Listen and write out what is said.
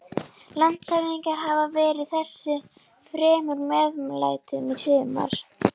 Landshöfðingi hafði verið þessu fremur meðmæltur í sumar.